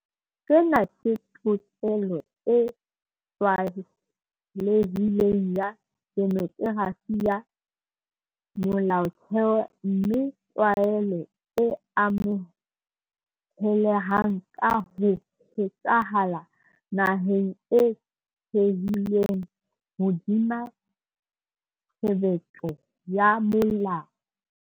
Sena ke tokelo e tlwaelehileng ya demokerasi ya molaotheo mme ke tlwaelo e amohelehang ka ho phethahala naheng e thehilweng hodima tshebetso ya molao.